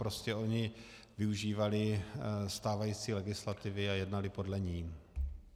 Prostě oni využívali stávající legislativy a jednali podle ní.